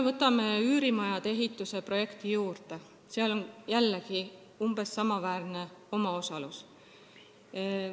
Võtame üürimajade ehituse projekti – seal on umbes niisama suur omaosalus.